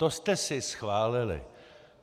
To jste si schválili.